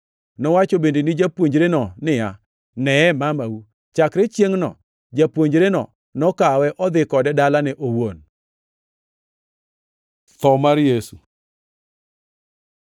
Nowacho bende ni japuonjreno niya, “Neye mamau!” Chakre chiengʼno japuonjreno nokawe odhi kode dalane owuon. Tho mar Yesu